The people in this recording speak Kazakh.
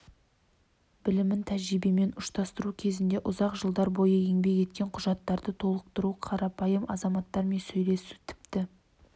білімін тәжірибемен ұштастыру кезінде ұзақ жылдар бойы еңбек еткен құжаттарды толтыру қарапайым азаматтармен сөйлесу тіпті